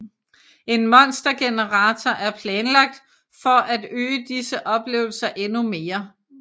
En monstergenerator er planlagt for at øge disse oplevelser endnu mere